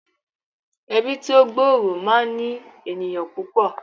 Ẹbí tí ó gbòòrò máa ń ní ènìyàn púpọ̀